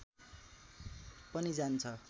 पनि जान्छ